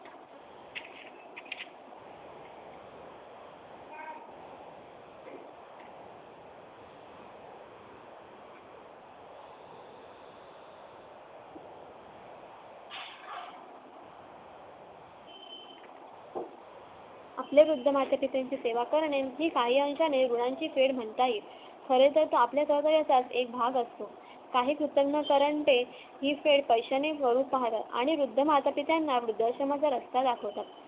आपले वृद्ध मातेची त्यांची सेवा करणे ही काही अर्थाने गुणांची फेड म्हणता येईल खरे तर ते आपल्या अवयाचा एक भाग असतो आणि वृध्द माता पिताना वृध्द आश्रमाचा रस्ता दाखवतात